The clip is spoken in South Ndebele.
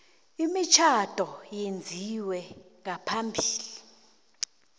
imitjhado eyenziwe ngaphambi